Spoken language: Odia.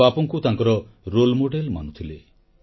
ସେ ବାପୁଙ୍କୁ ତାଙ୍କ ଆଦର୍ଶ ମାନୁଥିଲେ